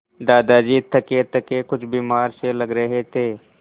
दादाजी थकेथके कुछ बीमार से लग रहे थे